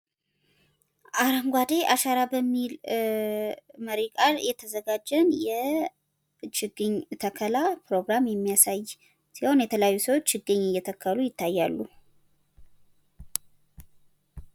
አረጓዴ አሻራ በሚል መሪ ቃል የተዘጋጀን የችግኝ ተከላ ፕሮግራም የሚያሳይ ሲሆን የተለያዩ ሰዎች ችግኝ እየተከሉ ይታያሉ።